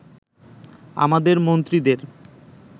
আমাদের মন্ত্রীদের